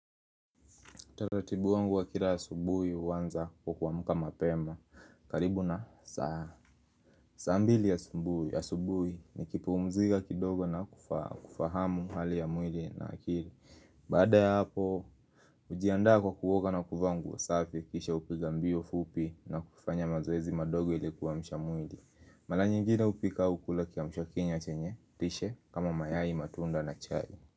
Taratibu wangu wa kila asubuhi huanza kwa kuamka mapema. Karibu na saa. Saa mbili asubuhi nikipumziga kidogo na kufahamu hali ya mwili na akili. Baada ya hapo, ujiandaa kwa kuoga na kuvaa nguo safi kisha hupiga mbio fupi na kufanya mazoezi madogo ili kuamsha mwili. Mala nyingine hupika au kula kiamshwakinywa chenye, lishe, kama mayai matunda na chai.